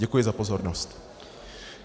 Děkuji za pozornost.